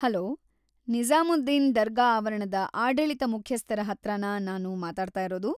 Hello, Nizamuddin ದರ್ಗಾ ಆವರಣದ ಆಡಳಿತ ಮುಖ್ಯಸ್ಥರ ಹತ್ರನಾ ನಾನು ಮಾತಾಡ್ತಾ ಇರೋದು?